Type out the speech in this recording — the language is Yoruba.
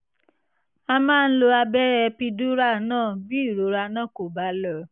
a máa ń lo abẹ́rẹ́ epidural náà bí ìrora náà kò bá lọ